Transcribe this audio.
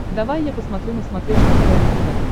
давай я посмотрю на смотрешке квн тв